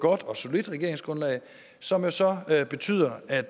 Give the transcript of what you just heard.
godt og solidt regeringsgrundlag som jo så betyder at